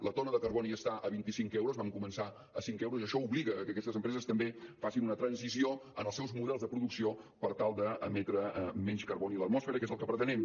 la tona de carboni està a vint i cinc euros vam començar a cinc euros i això obliga que aquestes empreses també facin una transició en els seus models de producció per tal d’emetre menys carboni a l’atmosfera que és el que pretenem